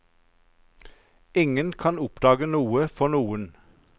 Ingen kan oppdage noe for noen.